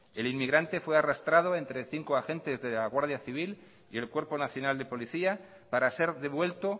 el inmigrante fue arrastrado entre cinco agentes de la guardia civil y el cuerpo nacional de policía para ser devuelto